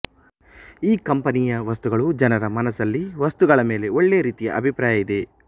ಈ ಕಂಪನಿಯ ವಸ್ತುಗಳು ಜನರ ಮನಸಲ್ಲಿ ವಸ್ತುಗಳ ಮೇಲೆ ಒಳ್ಳೆ ರೀತಿಯ ಅಭಿಪ್ರಾಯ ಇದೆ